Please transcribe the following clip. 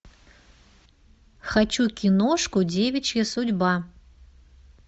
хочу киношку девичья судьба